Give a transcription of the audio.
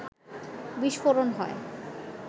বিস্ফোরণ হয়